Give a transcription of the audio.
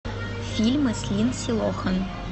фильмы с линдси лохан